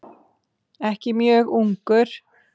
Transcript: Ekki mjög ungur.